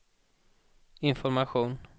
information